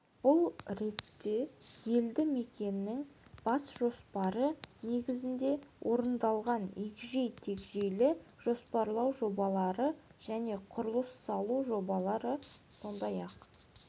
бұл ретте елді мекеннің бас жоспарлары негізінде орындалған егжей-тегжейлі жоспарлау жобалары және құрылыс салу жобалары сондай-ақ